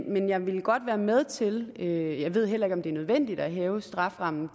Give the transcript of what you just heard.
men jeg vil godt være med til jeg ved heller ikke om det er nødvendigt at hæve strafferammen